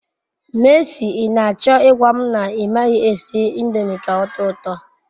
Mercy, I nacho igwam na I maghi esi indomi k'otoo uto